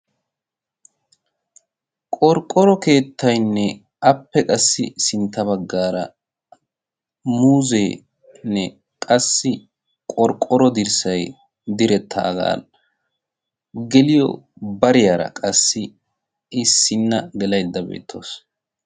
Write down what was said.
qorqqoro keettaynne appe qassi sintta baggaara muuzeenne qassi qorqqoro dirssay direttaagaa geliyo bariyaara qassi issinna gelaydda beettees